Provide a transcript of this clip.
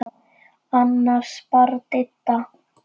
Annars bara Didda.